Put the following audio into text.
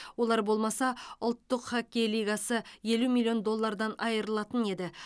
олар болмаса ұлттық хоккей лигасы елу миллион доллардан айырылатын еді